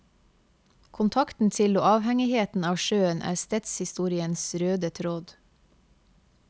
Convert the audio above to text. Kontakten til og avhengigheten av sjøen er stedshistoriens røde tråd.